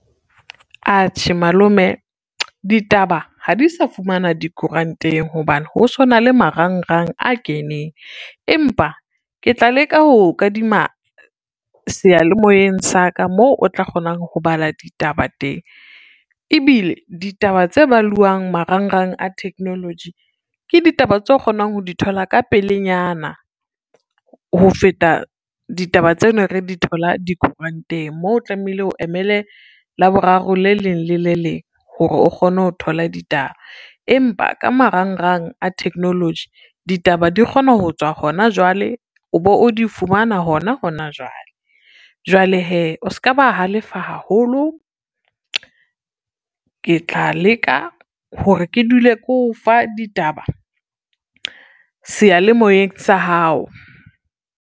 Atjhe malome ditaba ha di sa fumana dikoranteng hobane ho sona le marangrang a keneng, empa ke tla leka ho o kadima seyalemoyeng sa ka moo o tla kgona ho bala ditaba teng, ebile ditaba tse baluwang marangrang a technology ke ditaba tseo kgonang ho di thola ka pelenyana, ho feta ditaba tse ne re di thola dikuranteng moo o tlamehile o emele Laboraro le leng le le leng hore o kgone ho thola ditaba. Empa ka marangrang a technology ditaba di kgona ho tswa hona jwale, o bo o di fumana hona hona jwale. Jwale hee o ska ba halefa haholo, ke tla leka hore ke dule ke o fa ditaba seyalemoyeng sa hao.